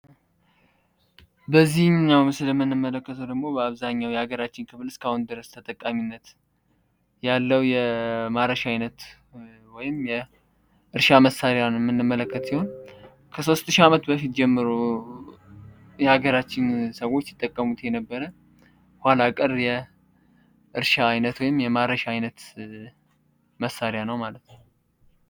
በዚህኛው ምስል የምንመለከተው ደግሞ በሀገራችን በአብዛኛው ክፍል ተጠቃሚ ያለው የማረሻ አይነት ወይም የእርሻ መሳሪያ የምንመለከት ሲሆን ከሶስት ሺህ አመት ጀምሮ የሀገራችን ሰዎች ሲጠቀሙት የነበረ ኋላ ቀር የእርሻ ወይም የማረሻ አይነት ነው ማለት ነው።